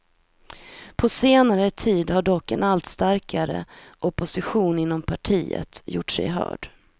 På senare tid har dock en allt starkare opposition inom partiet gjort sig hörd.